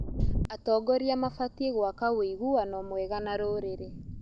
Atongoria mabatiĩ gwaka ũiguano mwega na rũrĩrĩ.